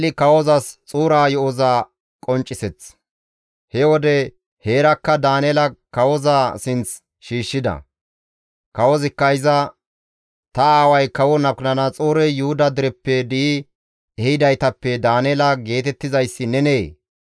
He wode heerakka Daaneela kawoza sinth shiishshida; kawozikka iza, «Ta aaway kawo Nabukadanaxoorey Yuhuda dereppe di7i ehidaytappe Daaneela geetettizayssi nenee?